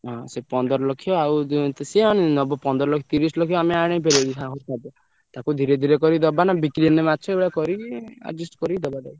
ହଁ ସେ ପନ୍ଦର ଲକ୍ଷ ଆଉ ଦିଅନ୍ତୁ ସେ ନବ ପନ୍ଦର ଲକ୍ଷ ତିରିଶି ଲକ୍ଷ ଆମେ ଆଣିପାରିଆନି ତାକୁ ଧୀରେ ଧୀରେ କରି ଦବା ନା ବିକ୍ରି ହେଲେ ମାଛ ଏଗୁଡା କରିକି adjust କରି ଦବା ତାକୁ।